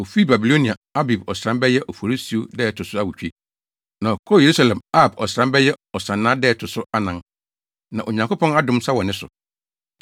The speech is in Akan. Ofii Babilonia Abib ɔsram (bɛyɛ Oforisuo) da a ɛto so awotwe, na ɔkɔɔ Yerusalem Ab ɔsram (bɛyɛ Ɔsannaa) da a ɛto so anan. Na Onyankopɔn adom nsa wɔ ne so.